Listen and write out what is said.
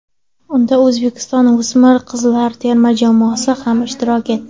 Unda O‘zbekiston o‘smir qizlar terma jamoasi ham ishtirok etdi.